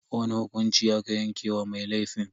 Wani hukunci aka yanke wa mai laifin?